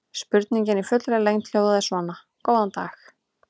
Spurningin í fullri lengd hljóðaði svona: Góðan dag.